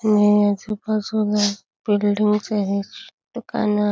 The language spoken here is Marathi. महिण्याच पासबूक आहे दुकान--